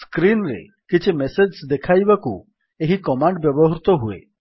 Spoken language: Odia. ସ୍କ୍ରୀନ୍ ରେ କିଛି ମେସେଜ୍ ଦେଖାଇବାକୁ ଏହି କମାଣ୍ଡ୍ ବ୍ୟବହୃତ ହୁଏ